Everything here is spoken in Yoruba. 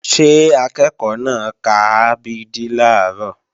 Ṣé akẹ́ẹ̀kọ́ náà ka a b d làárọ̀?